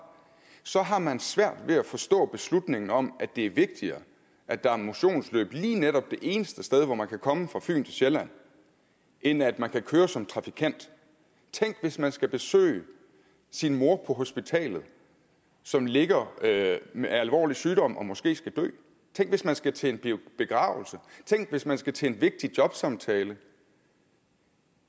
så har man svært ved at forstå beslutningen om at det er vigtigere at der er motionsløb lige netop det eneste sted hvor man kan komme fra fyn til sjælland end at man kan køre der som trafikant tænk hvis man skal besøge sin mor på hospitalet som ligger med alvorlig sygdom og måske skal dø tænk hvis man skal til en begravelse tænk hvis man skal til en vigtig jobsamtale